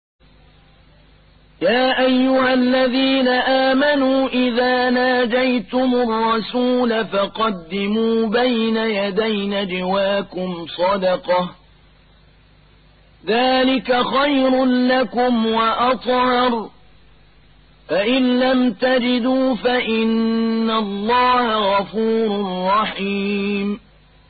يَا أَيُّهَا الَّذِينَ آمَنُوا إِذَا نَاجَيْتُمُ الرَّسُولَ فَقَدِّمُوا بَيْنَ يَدَيْ نَجْوَاكُمْ صَدَقَةً ۚ ذَٰلِكَ خَيْرٌ لَّكُمْ وَأَطْهَرُ ۚ فَإِن لَّمْ تَجِدُوا فَإِنَّ اللَّهَ غَفُورٌ رَّحِيمٌ